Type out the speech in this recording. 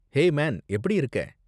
Hey man, எப்படி இருக்க?